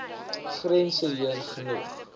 grense heen genoeg